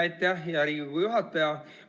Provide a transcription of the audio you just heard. Aitäh, hea Riigikogu juhataja!